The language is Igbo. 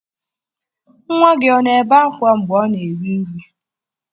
Nwa gị ọ na-ebe akwa mgbe ọ na-eri nri?